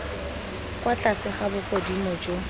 kwa tlase ga bogodimo jo